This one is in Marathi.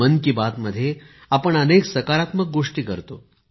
मन की बात मध्ये आपण अनेक सकारात्मक गोष्टी करतो